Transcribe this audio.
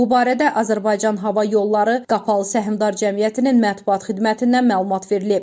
Bu barədə Azərbaycan Hava Yolları Qapalı Səhmdar Cəmiyyətinin mətbuat xidmətindən məlumat verilib.